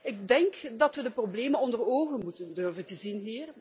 Ik denk dat we de problemen onder ogen moeten durven zien.